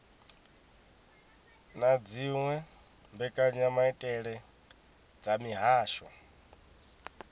na dziwe mbekanyamaitele dza mihasho